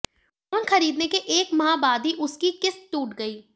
phone खरीदने के एक माह बाद ही उसकी किस्त टूट गई